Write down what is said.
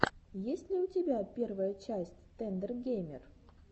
есть ли у тебя первая часть тендер геймер